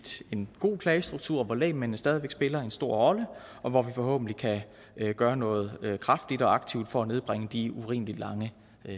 en god klagestruktur hvor lægmændene stadig væk spiller en stor rolle og hvor vi forhåbentlig kan gøre noget kraftigt og aktivt for at nedbringe de urimeligt lange